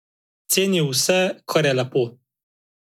Cenijo vse, kar je lepo.